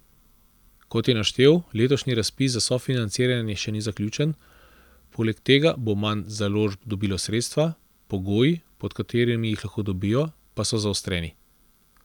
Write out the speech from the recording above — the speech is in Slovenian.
Kot je naštel, letošnji razpis za sofinanciranje še ni zaključen, poleg tega bo manj založb dobilo sredstva, pogoji, pod katerimi jih lahko dobijo, pa so zaostreni.